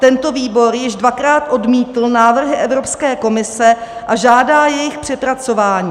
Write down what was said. Tento výbor již dvakrát odmítl návrhy Evropské komise a žádá jejich přepracování.